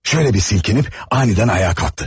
Belə silkələndi və qəflətən ayağa qalxdı.